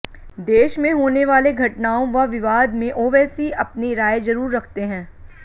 देश में होने वाले घटनाओं व विवाद में ओवैसी अपनी राय जरूर रखते हैं